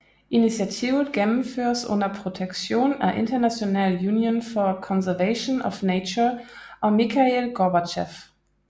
Initiativet gennemføres under protektion af International Union for Conservation of Nature og Mikhail Gorbachev